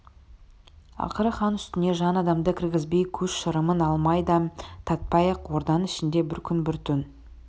ақыры хан үстіне жан адамды кіргізбей көз шырымын алмай дәм татпай ақ орданың ішінде бір күн бір түн